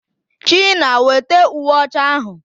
China, wete uwe ọcha ahụ!